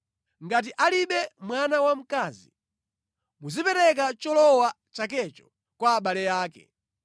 Ngati alibe mwana wamkazi, muzipereka cholowa chakecho kwa abale ake.